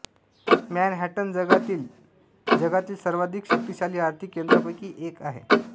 Manhattan जगातील जगातील सर्वाधिक शक्तिशाली आर्थिक केंद्रांपैकी एक आहे